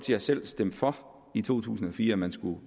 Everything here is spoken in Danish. har selv stemt for i to tusind og fire at man